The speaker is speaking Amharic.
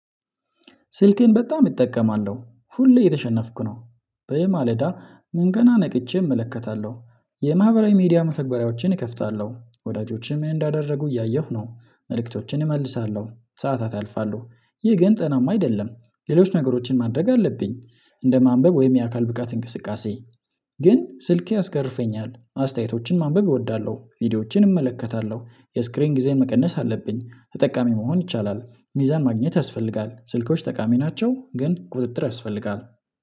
ስልኬን በጣም እጠቀማለሁ ሁሌ የተሸነፍኩ ነው። በየማለዳ ምን ገና ነቅቼ እመለከታለሁ የማህበራዊ ሚዲያ መተግበሪያዎችን እከፍታለሁ ወዳጆችም እንዳደረጉ እያየሁ ነው መልእክቶችን እመልሳለሁ ሰዓታት ያልፋለሁ። ይህ ግን ጤናማ አይደለም ሌሎች ነገሮችን ማድረግ አለብኝ። እንደ ማንበብ ወይም የአካል ብቃት እንቅስቃሴ ግን ስልኬ አስገርፈኛል አስተያየቶችን ማንበብ እወዳለሁ ቪዲዮዎችን እመለከታለሁ የስክሪን ጊዜን መቀነስ አለብኝ ተጠቃሚ መሆን ይቻላል ሚዛን ማግኘት ያስፈልጋል ስልኮች ጠቃሚ ናቸው ግን ቁጥጥር ያስፈልጋል።